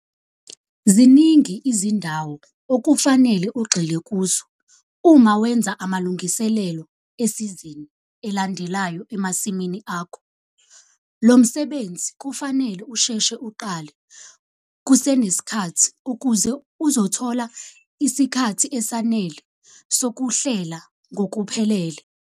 ZININGI IZINDAWO OKUFANELE UGXILE KUZO UMA WENZA AMALUNGISELELO ESIZINI ELANDELAYO EMASIMINI AKHO. LO MSEBENZI KUFANELE USHESHE UQALE KUSENESIKHATHI UKUZE UZOTHOLA ISIKHATHI ESANELE SOKUHLELA NGOKUPHELELE.